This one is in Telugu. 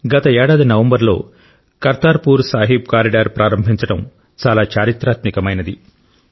గత ఏడాది నవంబర్లో కర్తార్పూర్ సాహిబ్ కారిడార్ ప్రారంభించడం చాలా చారిత్రాత్మకమైనది